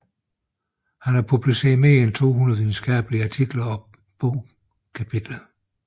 Han har publiceret mere end 200 videnskabelige artikler og bogkapitler